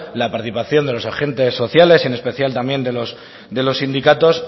la participación de los agentes sociales y en especial también de los sindicatos